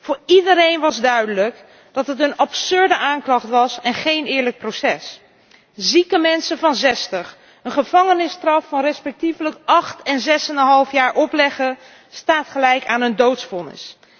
Voor iedereen was duidelijk dat het een absurde aanklacht was en geen eerlijk proces. Zieke mensen van 60 een gevangenisstraf van respectievelijk acht en zesenhalf jaar opleggen staat gelijk aan een doodvonnis.